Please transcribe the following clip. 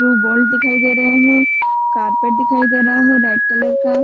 screw bolt दिखाई दे रहा है कार्पेट दिखाई दे रहा है रेड कलर का --